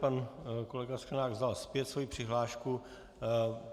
Pan kolega Sklenák vzal zpět svoji přihlášku.